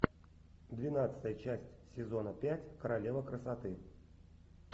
двенадцатая часть сезона пять королева красоты